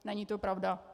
Není to pravda.